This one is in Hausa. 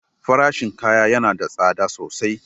Farashin kaya yana da tsada sosai.